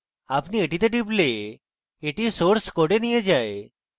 আপনি এটিতে টিপলে এটি আপনাকে source code নিয়ে যায়